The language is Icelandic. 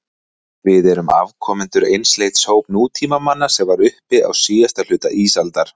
Við erum afkomendur einsleits hóps nútímamanna sem var uppi á síðasta hluta ísaldar.